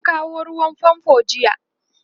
an kawo ruwan fanfo jiya